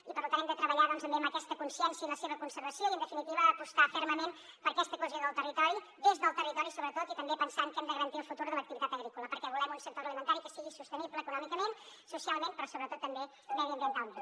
i per tant hem de treballar doncs també amb aquesta consciència i la seva conservació i en definitiva apostar fermament per aquesta cohesió del territori des del territori sobretot i també pensant que hem de garantir el futur de l’activitat agrícola perquè volem un sector agroalimentari que sigui sostenible econòmicament socialment però sobretot també mediambientalment